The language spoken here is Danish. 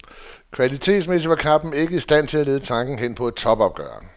Kvalitetsmæssigt var kampen ikke i stand til at lede tankerne hen på et topopgør.